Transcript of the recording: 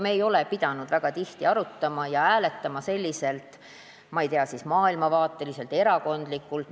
Me ei ole pidanud väga tihti arutama ja hääletama kuidagi selliselt, ma ei tea, maailmavaateliselt või erakondlikult.